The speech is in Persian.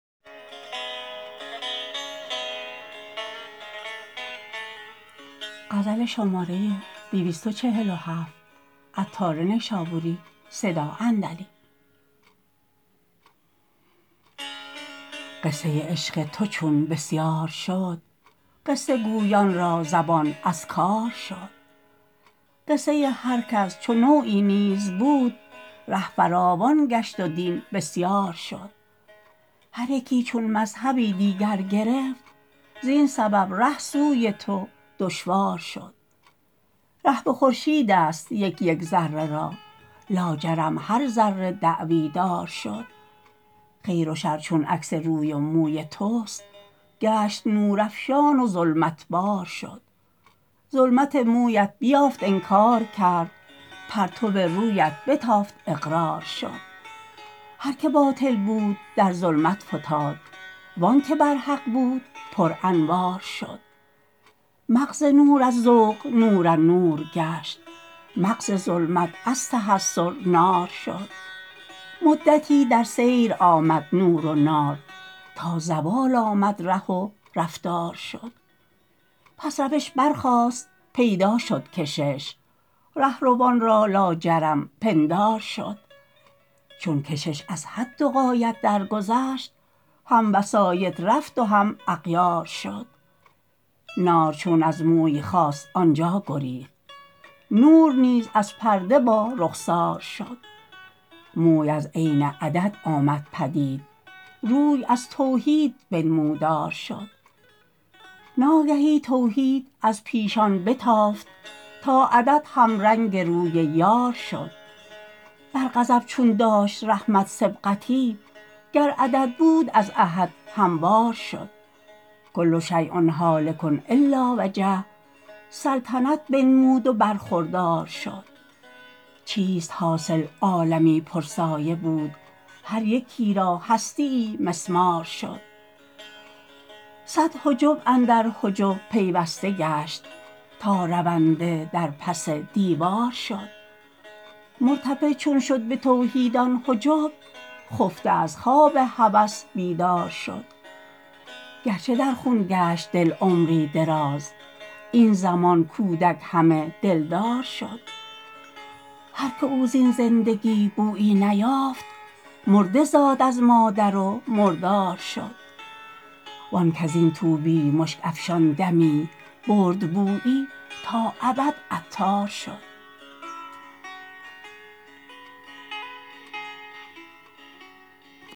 قصه عشق تو چون بسیار شد قصه گویان را زبان از کار شد قصه هرکس چو نوعی نیز بود ره فراوان گشت و دین بسیار شد هر یکی چون مذهبی دیگر گرفت زین سبب ره سوی تو دشوار شد ره به خورشید است یک یک ذره را لاجرم هر ذره دعوی دار شد خیر و شر چون عکس روی و موی توست گشت نور افشان و ظلمت بار شد ظلمت مویت بیافت انکار کرد پرتو رویت بتافت اقرار شد هر که باطل بود در ظلمت فتاد وانکه بر حق بود پر انوار شد مغز نور از ذوق نورالنور گشت مغز ظلمت از تحسر نار شد مدتی در سیر آمد نور و نار تا زوال آمد ره و رفتار شد پس روش برخاست پیدا شد کشش رهروان را لاجرم پندار شد چون کشش از حد و غایت درگذشت هم وسایط رفت و هم اغیار شد نار چون از موی خاست آنجا گریخت نور نیز از پرده با رخسار شد موی از عین عدد آمد پدید روی از توحید بنمودار شد ناگهی توحید از پیشان بتافت تا عدد هم رنگ روی یار شد بر غضب چون داشت رحمت سبقتی گر عدد بود از احد هموار شد کل شیء هالک الا وجهه سلطنت بنمود و برخوردار شد چیست حاصل عالمی پر سایه بود هر یکی را هستییی مسمار شد صد حجب اندر حجب پیوسته گشت تا رونده در پس دیوار شد مرتفع چون شد به توحید آن حجب خفته از خواب هوس بیدار شد گرچه در خون گشت دل عمری دراز این زمان کودک همه دلدار شد هرکه او زین زندگی بویی نیافت مرده زاد از مادر و مردار شد وان کزین طوبی مشک افشان دمی برد بویی تا ابد عطار شد